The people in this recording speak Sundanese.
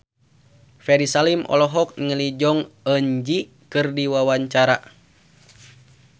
Ferry Salim olohok ningali Jong Eun Ji keur diwawancara